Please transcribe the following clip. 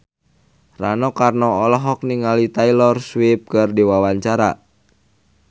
Rano Karno olohok ningali Taylor Swift keur diwawancara